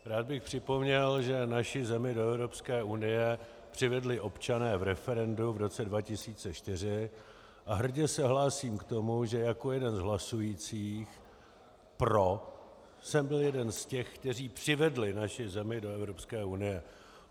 Rád bych připomněl, že naši zemi do Evropské unie přivedli občané v referendu v roce 2004, a hrdě se hlásím k tomu, že jako jeden z hlasujících pro jsem byl jeden z těch, kteří přivedli naši zemi do Evropské unie.